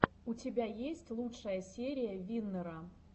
у тебя есть лучшая серия виннера